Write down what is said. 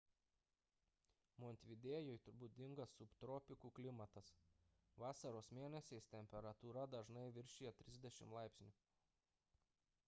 montevidėjui būdingas subtropikų klimatas vasaros mėnesiais temperatūra dažnai viršija +30 °c